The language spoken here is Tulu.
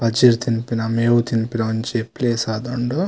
ಪಜಿರ್ ತಿನ್ಪಿನ ಮೇವು ತಿನ್ಪಿನ ಒಂಜಿ ಪ್ಲೇಸ್ ಆದುಂಡು.